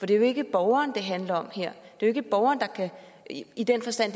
det er jo ikke borgeren det handler om her det er jo ikke i den forstand